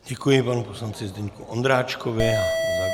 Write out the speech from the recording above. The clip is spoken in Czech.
Děkuji panu poslanci Zdeňku Ondráčkovi.